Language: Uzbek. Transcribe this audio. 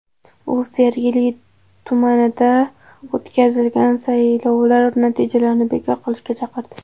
U Sergeli tumanida o‘tkazilgan saylovlar natijalarini bekor qilishga chaqirdi.